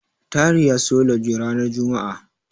Tahir ya siyo lauje ranar juma'a.